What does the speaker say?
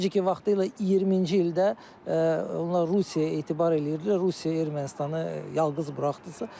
Necə ki, vaxtilə 20-ci ildə onlar Rusiyaya etibar eləyirdilər, Rusiya Ermənistanı yalqız buraxdısa.